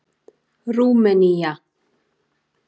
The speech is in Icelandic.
Rúmenía